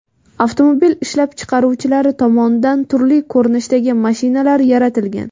Avtomobil ishlab chiqaruvchilari tomonidan turli ko‘rinishdagi mashinalar yaratilgan.